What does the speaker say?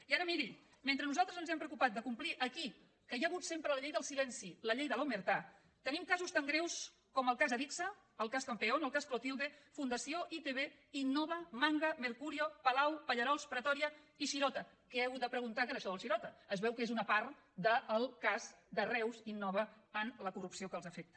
i ara miri mentre nosaltres ens hem preocupat de complir aquí que hi ha hagut sempre la llei del silenci la llei de l’casos tan greus com el cas adigsa el cas campeón el cas clotilde fundació itv innova manga mercurio palau pallerols pretoria i shirota que he hagut de preguntar què era això del shirota es veu que és una part del cas de reus innova en la corrupció que els afecta